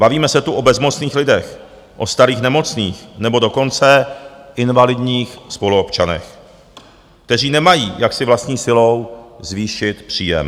Bavíme se tu o bezmocných lidech, o starých, nemocných, nebo dokonce invalidních spoluobčanech, kteří nemají, jak si vlastní silou zvýšit příjem.